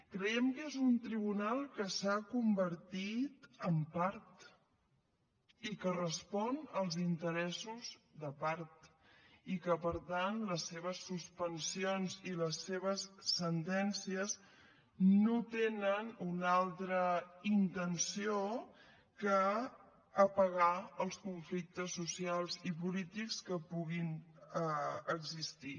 creiem que és un tribunal que s’ha convertit en part i que respon als interessos de part i que per tant les seves suspensions i les seves sentències no tenen una altra intenció que apagar els conflictes socials i polítics que puguin existir